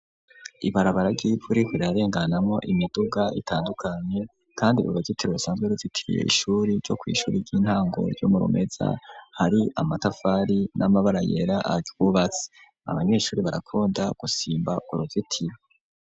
Ibarabara ry'ivu ririko rirarenganamwo imiduga itandukanye, kandi uruzitiro rusanzwe ruzitiriye ishuri ryo kw'ishuri ry'intango ryo mu Rumeza, hari amatafari n'amabara yera aryubatse. Abanyeshuri barakunda gusimba uruzitiro.